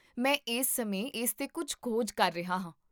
ਮੈਂ ਇਸ ਸਮੇਂ ਇਸ 'ਤੇ ਕੁੱਝ ਖੋਜ ਕਰ ਰਿਹਾ ਹਾਂ